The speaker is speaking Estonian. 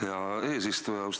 Aitäh, hea eesistuja!